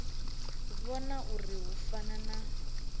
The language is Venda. vhona uri hu fana na